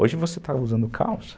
Hoje você está usando calça.